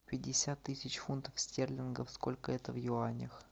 пятьдесят тысяч фунтов стерлингов сколько это в юанях